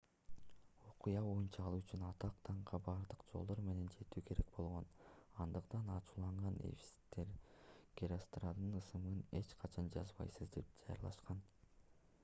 окуя боюнча ал үчүн атак-даңкка бардык жолдор менен жетүү керек болгон андыктан ачууланган эфестиктер геростраттын ысымын эч качан жазбайбыз деп жарыялашкан